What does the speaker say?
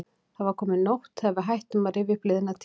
Það var komin nótt þegar við hættum að rifja upp liðna tíð.